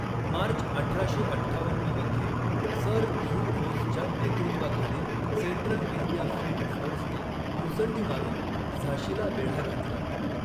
मार्च अठराशे अठ्ठावन्न मध्ये, सर ह्यू रोजच्या नेतृत्वाखालील सेंट्रल इंडिया फील्ड फोर्सने मुसंडी मारून झाशीला वेढा घातला.